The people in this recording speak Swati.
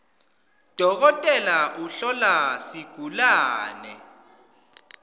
dokotela uhlola sigulawe